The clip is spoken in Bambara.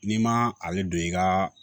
N'i ma ale don i ka